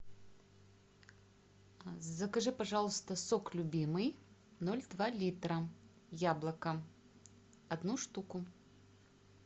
закажи пожалуйста сок любимый ноль два литра яблоко одну штуку